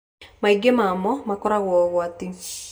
maingĩ mamo makorogo ũgwati.